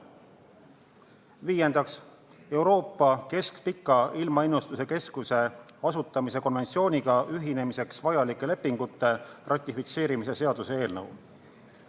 Viiendaks, Euroopa Keskpika Ilmaennustuse Keskuse asutamise konventsiooniga ühinemiseks vajalike lepingute ratifitseerimise seaduse eelnõu.